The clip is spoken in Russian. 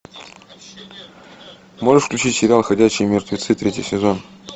можешь включить сериал ходячие мертвецы третий сезон